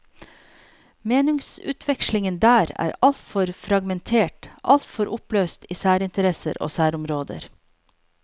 Meningsutvekslingen der er altfor fragmentert, altfor oppløst i særinteresser og særområder.